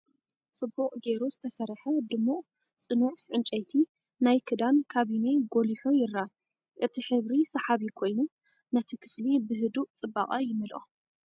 ጽቡቕ ጌሩ ዝተሰርሐ፡ ድሙቕ፡ ጽኑዕ ዕንጨይቲ ናይ ክዳን ካቢነ ጐሊሑ ይርአ። እቲ ሕብሪ ሰሓቢ ኮይኑ ነቲ ክፍሊ ብህዱእ ጽባቐ ይመልኦ!